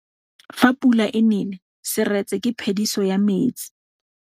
Fa pula e nelê serêtsê ke phêdisô ya metsi.